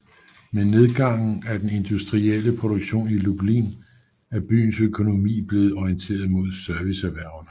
Med nedgangen i den industrielle produktion i Lublin er byens økonomi blevet orienteret mod serviceerhvervene